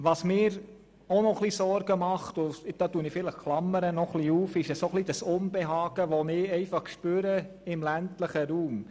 Was mir noch einige Sorgen bereitet – und das spüre ich einfach –, ist das Unbehagen im ländlichen Raum.